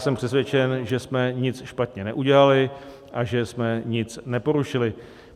Jsem přesvědčen, že jsme nic špatně neudělali a že jsme nic neporušili.